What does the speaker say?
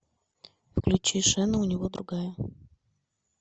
включи шена у него другая